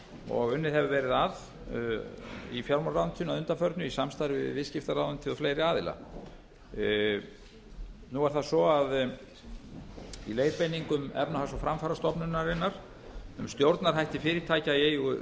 og unnið hefur verið að í fjármálaráðuneytinu að undanförnu í samstarfi við viðskiptaráðuneytið og fleiri aðila nú er það svo að í leiðbeiningum efnahags og framfarastofnunarinnar um stjórnarhætti fyrirtækja í eigu